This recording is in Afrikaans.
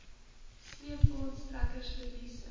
sleepwaens trekkers verliese